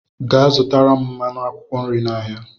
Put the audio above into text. Gaa zụtara m mmanụ akwụkwọ nri n'ahịa!